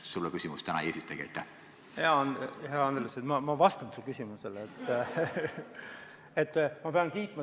Sulle küsimust täna ei esitagi.